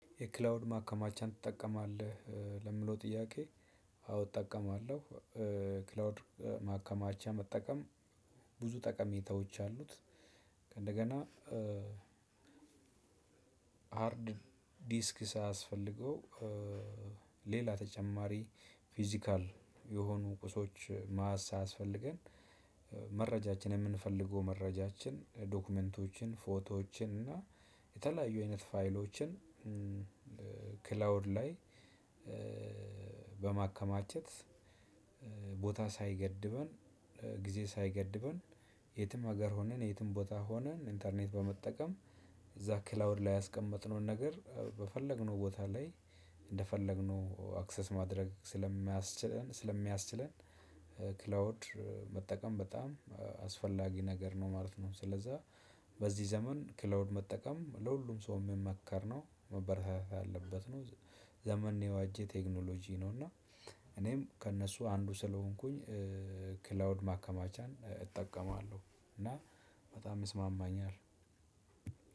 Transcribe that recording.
የክላውድ ማከማቻን ትጠቀማለህ ለሚለው ጥያቄ አዎ እጠቀማለሁ። ክላውድ ማከማቻ መጠቀም ብዙ ጠቀሜታዎች አሉት። ከእንደገና ሃርድ ዲስክ ሳያስፈልገው ሌላ ተጨማሪ ፊዚካል የሆኑ ቁሶች ማሳ አያስፈልገን። መረጃችን የምንፈልገው መረጃችን ዶክመንቶችን ፎቶዎችን እና የተለያዩ አይነት ፋይሎችን። ክላውድ ላይ በማከማቸት ቦታ ሳይገድበን ጊዜ ሳይገድበን የትም ሀገር ሆነን የትም ቦታ ሆነን ኢንተርኔት በመጠቀም እዛ ክላውድ ላይ ያስቀመጥነውን ነገር በፈለግነው ቦታ ላይ እንደፈለግነው አክሰስ ማድረግ ስለሚያስችለን ስለሚያስችለን። ክላውድ መጠቀም በጣም አስፈላጊ ነገር ነው ማለት ነው። ስለዛ በዚህ ዘመን ክላውድ መጠቀም ለሁሉም ሰው የሚመከር ነው መበረታታት ያለበት ነው። ዘመን የዋጀ ቴክኖሎጂ ነው። እና እኔም ከእነሱ አንዱ ስለሆንኩኝ ክላውድ ማከማቻን እጠቀማለሁ። እና በጣም ይስማማኛል።